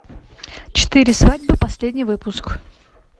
четыре свадьбы последний выпуск